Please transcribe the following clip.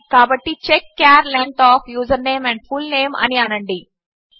కాబట్టి check char length of username and full name అని అనండి